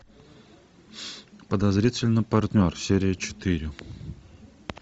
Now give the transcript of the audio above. подозрительный партнер серия четыре